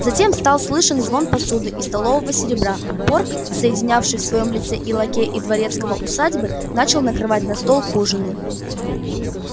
затем стал слышен звон посуды и столового серебра порк соединявший в своём лице и лакея и дворецкого усадьбы начал накрывать на стол к ужину